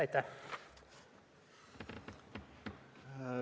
Aitäh!